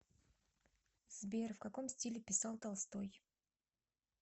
сбер в каком стиле писал толстой